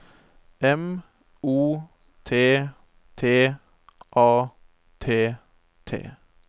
M O T T A T T